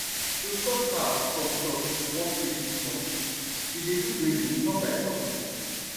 to stop cow from chop one place too much we dey do grazing turn by turn